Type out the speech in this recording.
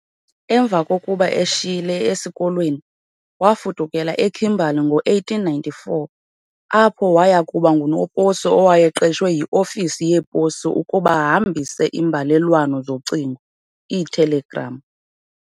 Emva kokuba eshiyile esikolweni, waafudukela eKimberley ngo-1894, apho wayakuba ngunoposi owayeqeshwe yi-Ofisi yePosi ukuba ahambise iimbalelwano zocingo, iitelegram.